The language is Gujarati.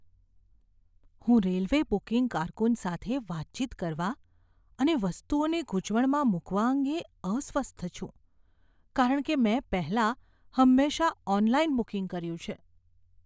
હું રેલવે બુકિંગ કારકુન સાથે વાતચીત કરવા અને વસ્તુઓને ગૂંચવણમાં મૂકવા અંગે અસ્વસ્થ છું કારણ કે મેં પહેલાં હંમેશા ઓનલાઇન બુકિંગ કર્યું છે.